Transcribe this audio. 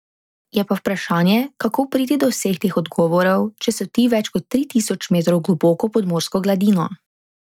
Je pa vprašanje, kako priti do vseh teh odgovorov, če so ti več kot tri tisoč metrov globoko pod morsko gladino.